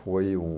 Foi um...